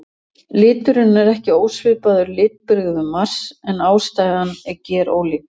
Liturinn er ekki ósvipaður litbrigðum Mars en ástæðan er gerólík.